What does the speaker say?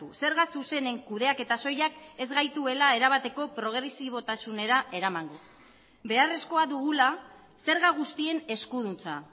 zerga zuzenen kudeaketa soilak ez gaituela erabateko progresibotasunera eramango beharrezkoa dugula zerga guztien eskuduntza